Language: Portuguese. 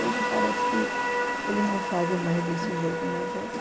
Hoje parece que eles não fazem mais desse jeito, mas